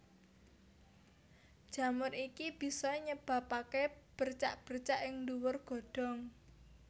Jamur iki bisa nyebabaké bercak bercak ing dhuwur godhong